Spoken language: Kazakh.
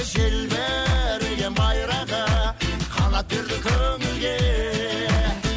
желбіреген байрағы қанат берді көңілге